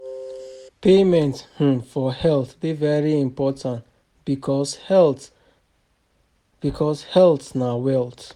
Payment um for health de very important because health because health na wealth